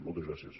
moltes gràcies